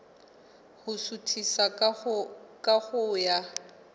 ho suthisa ka ho ya